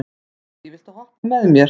Betsý, viltu hoppa með mér?